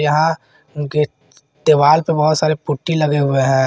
वहां के दीवाल पर बहुत सारे पुट्टी लगे हुए हैं।